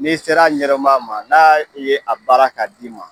N'i sera a ɲɛdɔn baa ma n'a ye a baara k'a d'i ma.